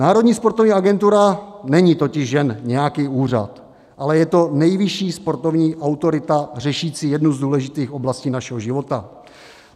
Národní sportovní agentura není totiž jen nějaký úřad, ale je to nejvyšší sportovní autorita řešící jednu z důležitých oblastí našeho života.